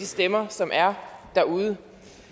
stemmer som er derude